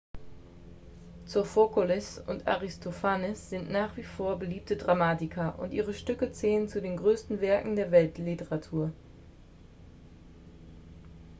sophokles und aristophanes sind nach wie vor beliebte dramatiker und ihre stücke zählen zu den größten werken der weltliteratur